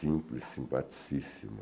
Simples, simpaticíssimo.